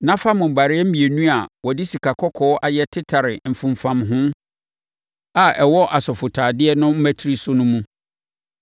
Na fa mmobareeɛ mmienu a wɔde sikakɔkɔɔ ayɛ tetare mfomfamho a ɛwɔ asɔfotadeɛ no mmati so no mu.